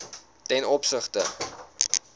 ten opsigte